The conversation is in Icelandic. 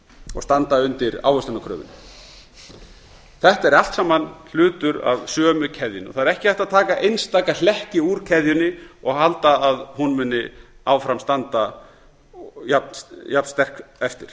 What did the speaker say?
og standa undir ávöxtunarkröfunni þetta er allt saman hlutur af sömu keðjunni það er ekki hægt að taka einstaka hlekki úr keðjunni og halda að hún muni áfram standa jafnsterk eftir